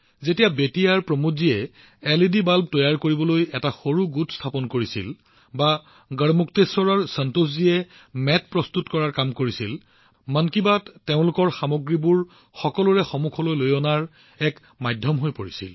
যেতিয়া বেতিয়াহৰ প্ৰমোদজীয়ে এলইডি বাল্ব তৈয়াৰ কৰিবলৈ এটা সৰু গোট স্থাপন কৰিছিল বা গড়মুক্তেশ্বৰৰ সন্তোষজীয়ে মেট বনাবলৈ আৰম্ভ কৰিছিল মন কী বাত তেওঁলোকৰ সামগ্ৰীবোৰ সকলোৰে সন্মুখত প্ৰস্তুত কৰাৰ এক মাধ্যম হৈ পৰিছিল